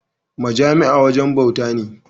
Majami’a wajen bawta na.